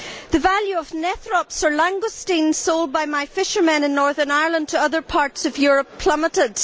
The value of nethrops or langoustines sold by my fishermen in Northern Ireland to other parts of Europe plummeted.